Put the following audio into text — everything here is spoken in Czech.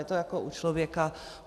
Je to jako u člověka.